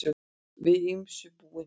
Við ýmsu búin